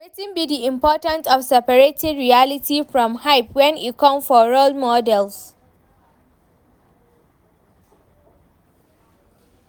Wetin be di important of separating reality from hype when e come for role models?